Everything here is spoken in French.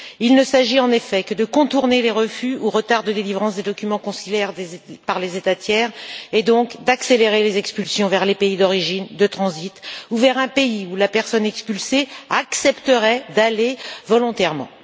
Il ne s'agit en effet que de contourner les refus ou retards de délivrance des documents consulaires par les États tiers et donc d'accélérer les expulsions vers les pays d'origine, de transit ou vers un pays où la personne expulsée accepterait d'aller volontairement.